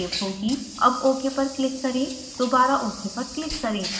अब ok पर click करें दोबारा ok पर क्लिक करें